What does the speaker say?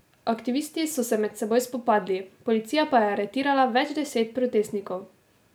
Aktivisti so se med seboj spopadli, policija pa je aretirala več deset protestnikov.